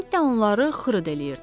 Bir də onları xırd eləyirdi.